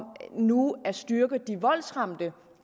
nu at styrke de voldsramte